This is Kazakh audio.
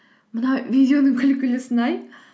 мына видеоның күлкілісін ай